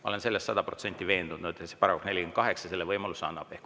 Ma olen sada protsenti veendunud, et § 48 selle võimaluse annab.